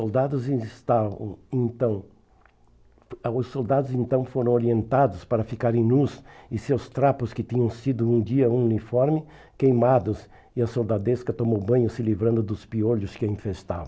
soldados ainda estavam então ãh os soldados então foram orientados para ficarem nus e seus trapos, que tinham sido um dia uniformes, queimados, e a soldadesca tomou banho se livrando dos piolhos que a infestavam.